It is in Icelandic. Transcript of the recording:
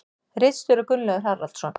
Ritstjóri Gunnlaugur Haraldsson.